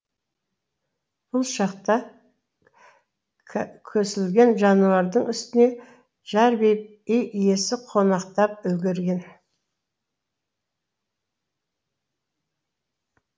бұл шақта көсілген жануардың үстіне жарбиып үй иесі қонақтап үлгерген